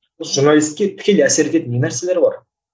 осы журналистке тікелей әсер ететін не нәрселер бар